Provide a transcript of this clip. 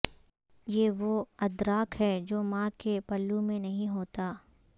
یہ وہ ادراک ہے جو ماں کے پلو میں نہیں ہوتا